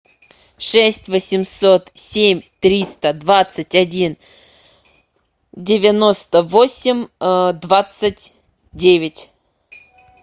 шесть восемьсот семь триста двадцать один девяносто восемь двадцать девять